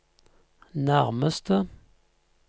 nærmeste